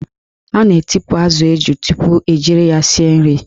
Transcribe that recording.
A na-etipu azụ eju tupu ejiri ya sie nri.